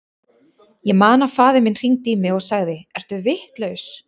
Ég man að faðir minn hringdi í mig og sagði, ertu vitlaus?